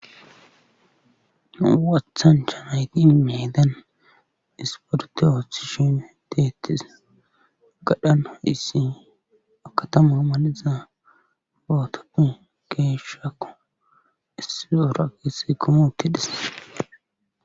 wathan shanayti meedan isporte oothishime teettis gadhano hissi akatama maliza footoppi keeshakko issiora keesse komootti dhise